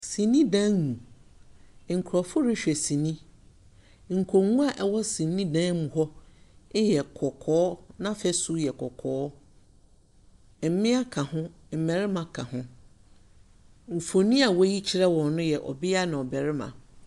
Sinidan mu, nkrɔfo rehwɛ sini. Nkonnwa a ɛwɔ sinidan mu hɔ yɛ kɔkɔɔ. N'afesu yɛ kɔkɔɔ. Mmea ka ho, mmarima yɛ ka ho. Mfoni a wɔreyi kyerɛ wɔn yɛ ɔbea na ɔbarima.